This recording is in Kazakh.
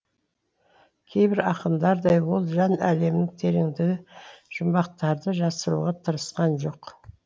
кейбір ақындардай ол жан әлемінің тереңдегі жұмбақтарды жасыруға тырысқан жоқ